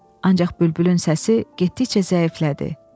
Ancaq bülbülün səsi getdikcə zəiflədi.